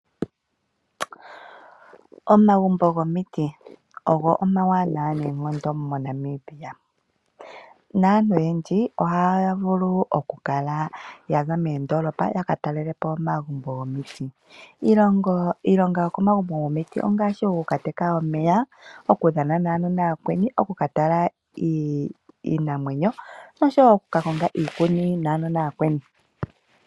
Omagumbo gomiti ogo omawanawa neenkondo moNamibia, naantu oyendji ohaya vulu oku kala ya za meendolopa ya ka talele po omagumbo gomiti. Iilonga yo ko magumbo gomiti ongaashi; oku ka teka omeya ,oku dhana naanona ooyakweni, oku ka tala iinamwenyo no sho woo oku ka konga iikuni naanona aakweni .